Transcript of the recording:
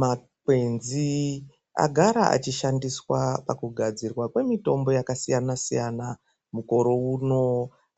Makwenzi agara achishandiswa pakugadzirwa kwemitombo yakasiyana-siyana mukore uno.